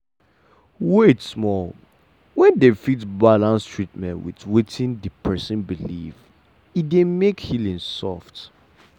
wait small- when dem fit balance treatment with wetin the person believe e dey make healing soft.